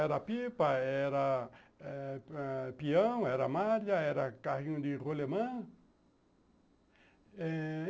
Era pipa, era eh eh peão, era malha, era carrinho de rolimã.